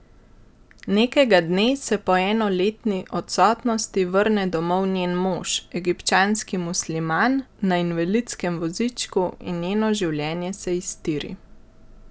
Nekega dne se po enoletni odsotnosti vrne domov njen mož, egipčanski musliman, na invalidskem vozičku in njeno življenje se iztiri.